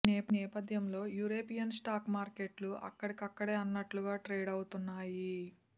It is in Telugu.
ఈ నేపథ్యంలో యూరోపియన్ స్టాక్ మార్కెట్లు అక్కడక్కడే అన్నట్లుగా ట్రేడవుతున్నాయి